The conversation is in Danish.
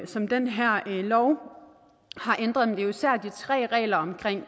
som den her lov har ændret men jo især de tre regler omkring